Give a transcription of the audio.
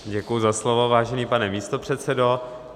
Děkuji za slovo, vážený pane místopředsedo.